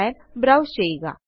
file browse ചെയ്യുക